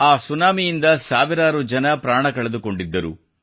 ಆ ಸುನಾಮಿಯಿಂದ ಸಾವಿರಾರು ಜನರು ಪ್ರಾಣ ಕಳೆದುಕೊಂಡಿದ್ದರು